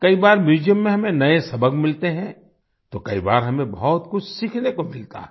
कई बार म्यूजियम में हमें नए सबक मिलते हैं तो कई बार हमें बहुत कुछ सीखने को मिलता है